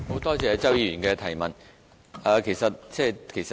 多謝周議員的補充質詢。